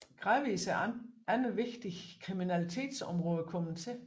Gradvis er andre vigtige kriminalitetsområder kommet til